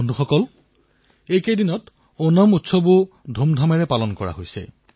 বন্ধুসকল এতিয়া ওনাম উৎসৱো ধুমধামেৰে পালন কৰা হৈছে